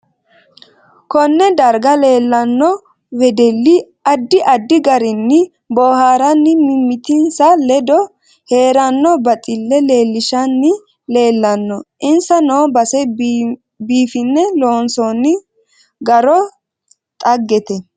Konne darga leelanno wedelli addi addi garinni booharinni mimitinsa ledo heeranno baxille leelishani leelanno insa noo base biifine loonsooni garo xaggete